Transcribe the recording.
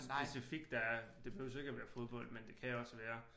Specifikt der er det behøves ikke være fodbold men det kan også være